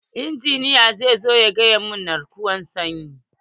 Injiniya za zo ya gyara na'urar sanyi.